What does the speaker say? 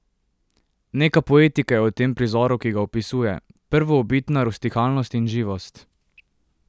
Neka poetika je v tem prizoru, ki ga opisuje, prvobitna rustikalnost in živost.